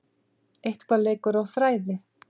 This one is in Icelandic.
Eitthvað leikur á þræði